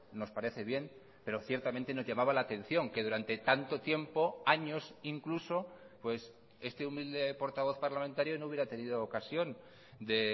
nos parece bien pero ciertamente nos llamaba la atención que durante tanto tiempo años incluso pues este humilde portavoz parlamentario no hubiera tenido ocasión de